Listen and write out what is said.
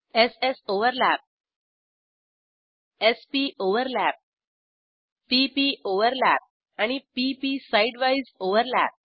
s s overlap s p overlap p p overlap आणि p P sidewise overlap